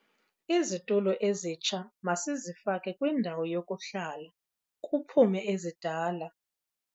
Izitulo ezitsha masizifake kwindawo yokuhlala, kuphume ezidala.